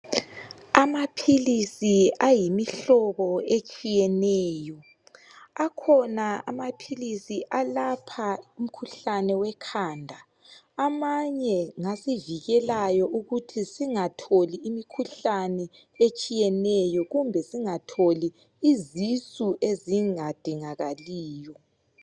Amaphilisi ayimihlobo etshiyeneyo, akhona amaphilisi alapha imikhuhlane wekhanda. Amanye ngawasivikelayo ukuthi singatholi imikhuhlane etshiyeneyo kumbe singatholi izisu ezingadingakaliyo.